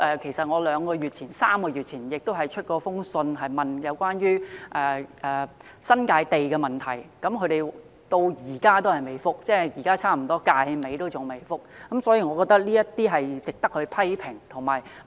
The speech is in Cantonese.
其實，我在兩三個月前曾致函政府，詢問關於新界土地的問題，但政府至今——即近本屆立法會任期尾聲——仍未給我回覆，我覺得這是值得批評的。